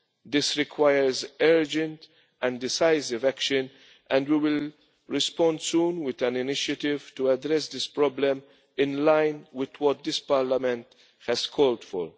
This requires urgent and decisive action, and we will respond soon with an initiative to address this problem in line with what this Parliament has called